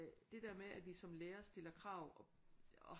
Det der med at vi som lærere stiller krav og